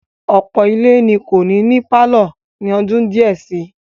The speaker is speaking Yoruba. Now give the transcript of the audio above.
Ọ̀pọ̀ ilé ni kò ní ní pálọ̀ ní ọdún díẹ̀ si.